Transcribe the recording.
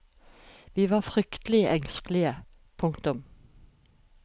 Vi var fryktelig engstelige. punktum